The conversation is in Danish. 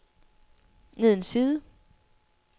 ned en side